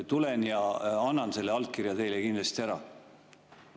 Tulen ja annan selle allkirja teile kindlasti ära.